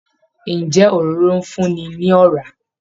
Ǹjẹ́ Òróró ń fún ni ní ọ̀rá?